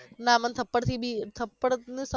ના મન થપ્પડ થી બી થપ્પડ નુ